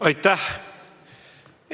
Aitäh!